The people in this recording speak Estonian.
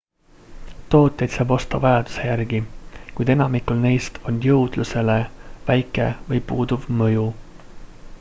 tooteid saab osta vajaduse järgi kuid enamikul neist on jõudlusele väike või puuduv mõju